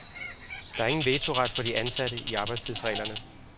Der er ingen vetoret for de ansatte i arbejdstidsreglerne.